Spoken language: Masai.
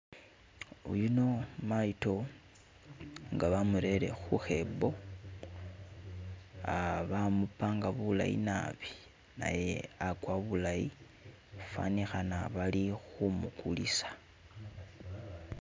Yuno mayido nga bamurele kukhabo bamupanga bulayi naabi naye agwa bulayi fanikhana bali khu mugulisa.